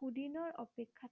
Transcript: সুদিনৰ অপেক্ষাত